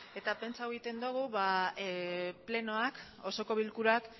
eta pentsatzen dugu osoko bilkurak